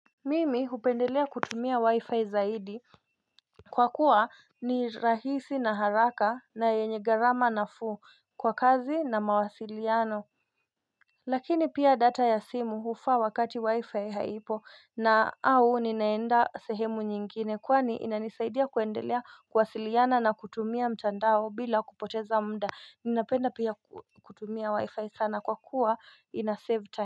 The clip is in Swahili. Mimi hupendelea kutumia wi-fi zaidi Kwakuwa ni rahisi na haraka na yenye garama na fuu kwa kazi na mawasiliano Lakini pia data ya simu hufaa wakati wi-fi haipo au ninaenda sehemu nyingine kwani inanisaidia kuendelea kuwasiliana na kutumia mtandao bila kupoteza mda Ninapenda pia kutumia wi-fi sana kwakuwa ina sevu taimu.